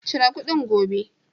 Cire kuɗin gobe!